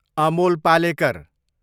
Amol Palekar